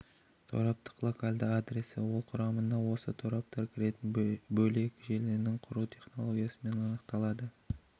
тораптық локальды адресі ол құрамына осы торап кіретін бөлек желіні құру технологиясымен анықталады